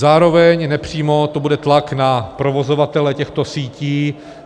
Zároveň nepřímo to bude tlak na provozovatele těchto sítí.